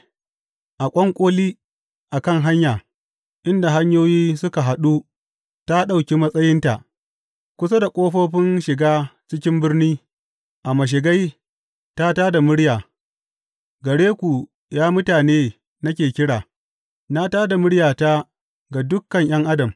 A ƙwanƙoli a kan hanya, inda hanyoyi suka haɗu, ta ɗauki matsayinta; kusa da ƙofofin shiga cikin birni, a mashigai, ta tā da murya, Gare ku, ya mutane, nake kira; na tā da muryata ga dukan ’yan adam.